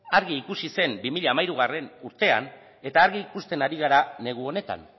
argi ikusi zen bi mila hamairugarrena urtean eta argi ikusten ari gara negu honetan